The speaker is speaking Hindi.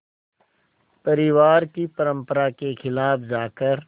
परिवार की परंपरा के ख़िलाफ़ जाकर